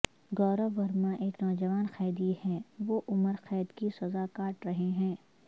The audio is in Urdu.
گورو ورما ایک نوجوان قیدی ہیں وہ عمر قید کی سزا کاٹ رہے ہیں